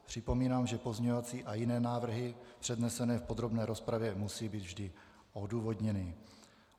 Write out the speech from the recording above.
Připomínám, že pozměňovací a jiné návrhy přednesené v podrobné rozpravě musí být vždy odůvodněny.